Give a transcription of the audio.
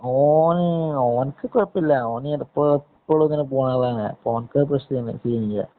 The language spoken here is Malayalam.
ഓന്‍, ഓന്ക്ക് കൊഴപ്പം ഒന്നുമില്ല. ഓന് എപ്പളും ഇങ്ങനെ പോണതാണ്.ഓന്ക്ക് പ്രശ്നം ഒന്നും ഇല്ല.